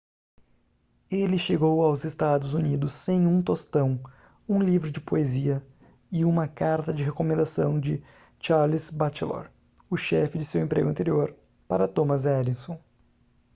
ele chegou aos estados unidos sem um tostão um livro de poesia e uma carta de recomendação de charles batchelor o chefe de seu emprego anterior para thomas edison